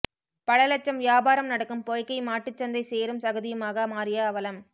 பல லட்சம் வியாபாரம் நடக்கும் பொய்கை மாட்டுச்சந்தை சேறும் சகதியுமாக மாறிய அவலம்